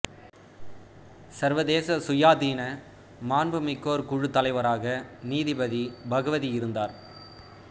சர்வதேச சுயாதீன மாண்புமிக்கோர் குழு தலைவராக நீதிபதி பகவதி இருந்தார்